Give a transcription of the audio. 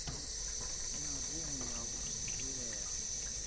na rumu ya u vhalela